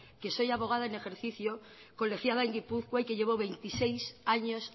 que soy abogada en ejercicio colegiada en gipuzkoa y que llevo veintiséis años